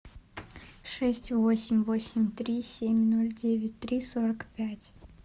шесть восемь восемь три семь ноль девять три сорок пять